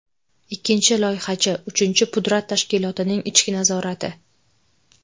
Ikkinchi loyihachi, uchinchi pudrat tashkilotining ichki nazorati.